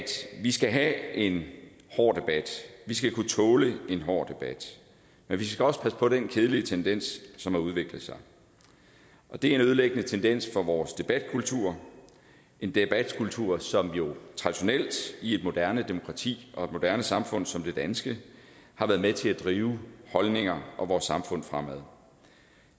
vi skal have en hård debat vi skal kunne tåle en hård debat men vi skal også passe på den kedelige tendens som har udviklet sig og det er en ødelæggende tendens for vores debatkultur en debatkultur som jo traditionelt i et moderne demokrati og et moderne samfund som det danske har været med til at drive holdninger og vores samfund fremad